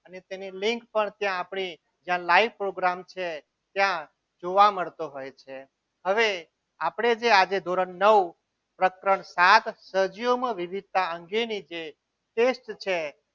અને તેની લીંક પણ ત્યાં આપણી જ્યાં live program છે ત્યાં જોવા મળતો હોય છે હવે આપણે જે આજે ધોરણ નવ પ્રકરણ સાત સજીવોમાં વિવિધતા અંગેની જે test છે.